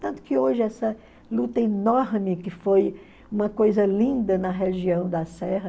Tanto que hoje essa luta enorme, que foi uma coisa linda na região da serra,